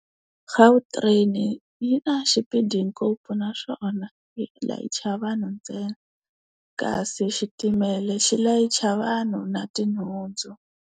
Gautrain, yi na xipidi ngopfu naswona yi layicha vanhu ntsena. Kasi xitimela xi layicha vanhu na tinhundzu.